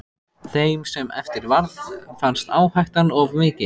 Þeim sem eftir varð fannst áhættan of mikil.